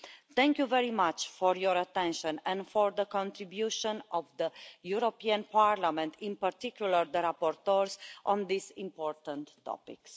Thank you very much for your attention and for the contribution of the European Parliament, in particular the rapporteurs, on this important topic.